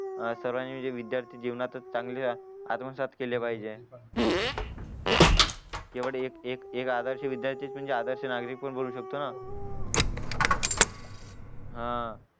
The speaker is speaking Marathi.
सर्वानी म्हणजे विद्यार्थी जीवनातच चांगले आत्मसात केले पाहिजे केवळ एक एक आदर्श विद्यार्थी म्हणजेच एक आदर्श नागरिक पण बोलू शकतो ना हा